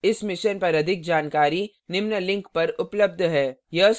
इस mission पर अधिक जानकारी निम्न लिंक पर उपलब्ध है